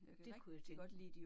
Det kunne jeg tænke mig